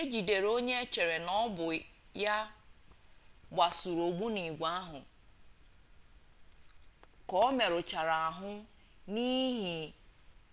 ejidere onye echere na ọbụ ya gbasuru ogbunigwe ahụ ka omerụchara ahụ n'ihi